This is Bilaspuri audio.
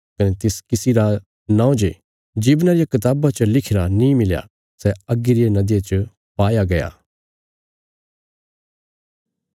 कने तिस किसी रा नौं जे जीवना रिया कताबा च लिखिरा नीं मिलया सै अग्गी रिया नदिया च पाया गया